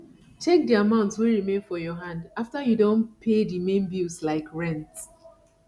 check di amount wey remain for your hand after you don pay di main bills like rent